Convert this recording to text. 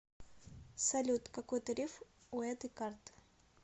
салют какой тариф у этой карты